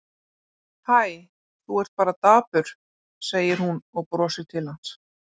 Hæ, þú ert bara dapur, segir hún og brosir til hans.